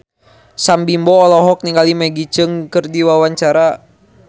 Sam Bimbo olohok ningali Maggie Cheung keur diwawancara